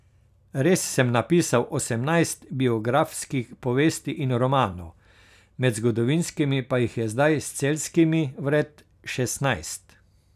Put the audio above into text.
Res sem napisal osemnajst biografskih povesti in romanov, med zgodovinskimi pa jih je zdaj s Celjskimi vred šestnajst.